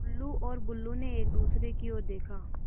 टुल्लु और बुल्लु ने एक दूसरे की ओर देखा